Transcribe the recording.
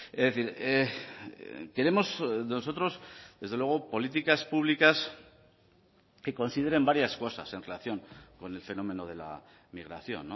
es decir queremos nosotros desde luego políticas públicas que consideren varias cosas en relación con el fenómeno de la migración